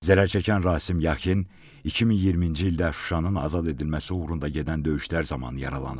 Zərərçəkən Rasim Yaxin 2020-ci ildə Şuşanın azad edilməsi uğrunda gedən döyüşlər zamanı yaralanıb.